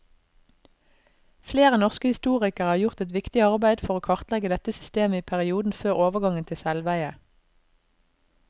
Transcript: Flere norske historikere har gjort et viktig arbeid for å kartlegge dette systemet i perioden før overgangen til selveie.